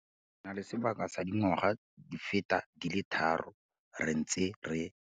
Re na le sebaka sa dingwaga di feta di le tharo re ntse re.